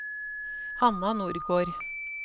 Hanna Nordgård